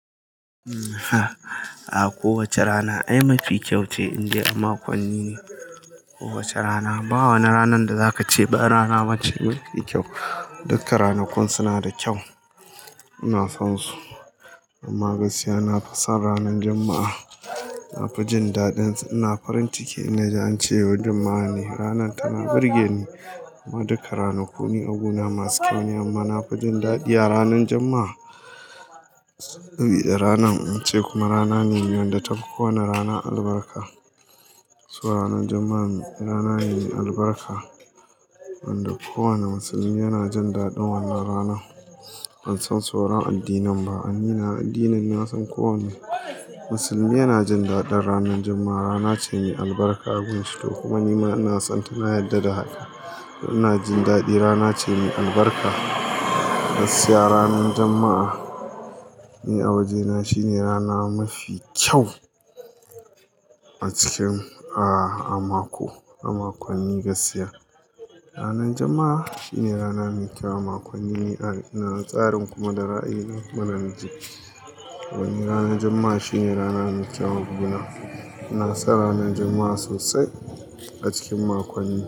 A ko wace rana ai mafi kyau ce, in ji a makonni ko wace rana. Ba wa na ranar da za ka ce ba rana wacce mai kai kyau. Duka ranakun suna da kyau. Ina son su, amma gaskiya na fi son ranar Juma'a. Na fi jin daɗin su. Ina farin ciki in ji an ce yau Juma'a ne. Ranar tana burge ni. Amma duka ranaku ne abuna masu kyau ne amma na fi jin daɗi a ranar Juma'a. Ranar, in ce kuma rana ne inda ta fi kowane rana albarka. So ranar Juma'a rana ne mai albarka wanda kowane musulmi yana jin daɗin wannan rana. Ban san sauran addinan ba. An yi na addinin na san kowane musulmi yana jin daɗin ranar Juma'a. Rana ce mai albarka gun shi, to kuma nima ina son tana yarda da haka. Ina jin daɗi rana ce mai albarka. Gaskiya ranar Juma'a ni a wajena shine rana mafi kyau a cikin a mako, a makonni gaskiya. Ranar Juma'a shine rana mai kyau a makonni. Ina tsarin kuma da rai na mana ji. Wani ranar Juma'a shine rana mai kyau a gunana. Ina son ranar Juma'a sosai a cikin makonni.